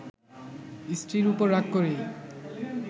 স্ত্রীর ওপর রাগ করেই